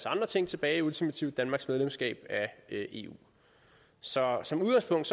andre ting tilbage ultimativt danmarks medlemskab af eu så som udgangspunkt